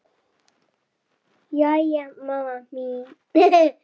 Jæja mamma mín.